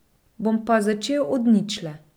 Bom pa začel od ničle.